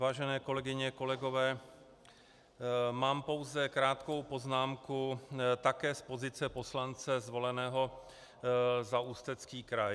Vážené kolegyně, kolegové, mám pouze krátkou poznámku také z pozice poslance zvoleného za Ústecký kraj.